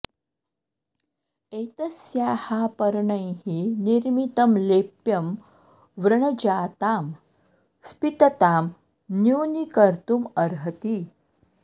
एतस्याः पर्णैः निर्मितं लेप्यं व्रणजातां स्पीततां न्यूनीकर्तुम् अर्हति